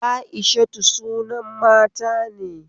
Aishatu sunan mata ne